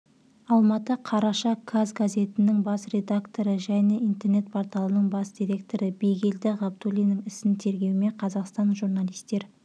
алматы қараша каз газетінің бас редакторы және интернет-порталының бас директоры бигелді ғабдуллиннің ісін тергеумен қазақстан журналистер